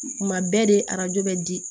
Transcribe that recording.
Kuma bɛɛ de arajo bɛ di